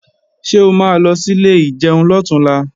Ṣé o ma lọ sí ilé ìjẹun lọ̀túnla?